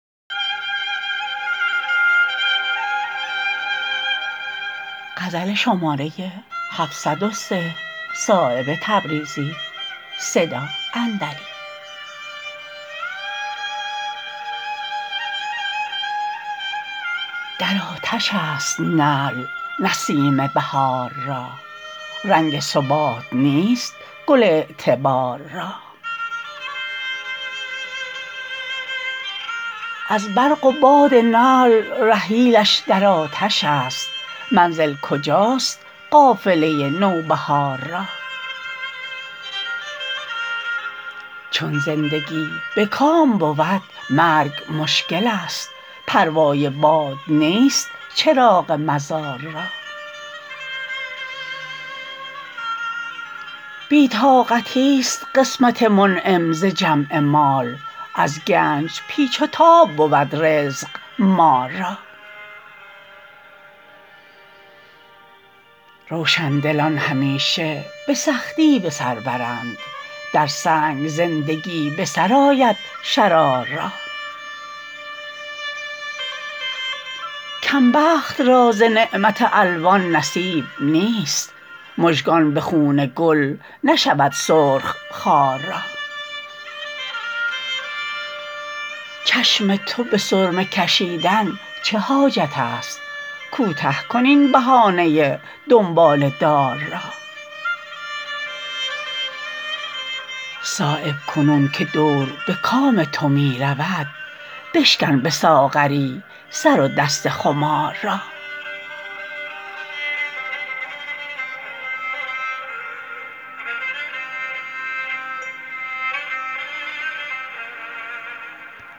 در آتش است نعل نسیم بهار را رنگ ثبات نیست گل اعتبار را از برق و باد نعل رحیلش در آتش است منزل کجاست قافله نوبهار را چون زندگی به کام بود مرگ مشکل است پروای باد نیست چراغ مزار را بی طاقتی است قسمت منعم ز جمع مال از گنج پیچ و تاب بود رزق مار را روشندلان همیشه به سختی بسر برند در سنگ زندگی بسرآید شرار را کم بخت را ز نعمت الوان نصیب نیست مژگان به خون گل نشود سرخ خار را چشم ترا به سرمه کشیدن چه حاجت است کوته کن این بهانه دنباله دار را صایب کنون که دور به کام تو می رود بشکن به ساغری سر و دست خمار را